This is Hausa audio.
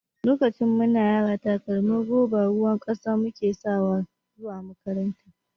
Lokacin mu na yara takalmin roba ruwan ƙasa mu ke sawa zuwa makaranta.